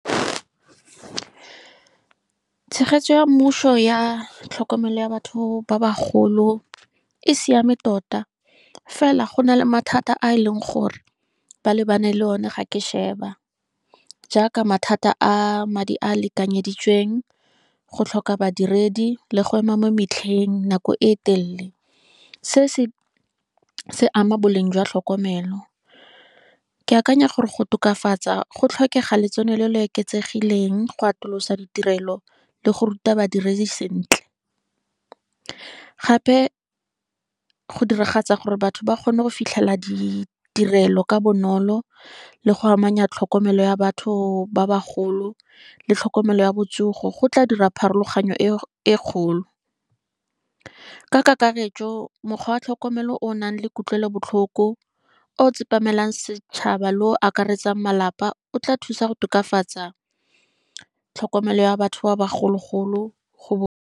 Tshegetso ya mmuso ya tlhokomelo ya batho ba ba golo e siame tota, fela go na le mathata a e leng gore ba lebane le one ga ke sheba, jaaka mathata a madi a lekanyeditsweng, go tlhoka badiredi, le go ema mo metlheng nako e telele. Se se ama boleng jwa tlhokomelo, ke akanya gore go tokafatsa go tlhokega letson lo lo eketsegileng, go atolosa ditirelo le go ruta ba dirise sentle. Gape go diragatsa gore batho ba kgone go fitlhelela ditirelo ka bonolo, le go amanya tlhokomelo ya batho ba bagolo, le tlhokomelo ya botsogo, go tla dira pharologanyo e kgolo. Ka kakaretso mokgwa wa tlhokomelo o nang le kutlwelobotlhoko, o tsepameng setšhaba le o akaretsang malapa o tla thusa go tokafatsa tlhokomelo ya batho ba ba gologolo go.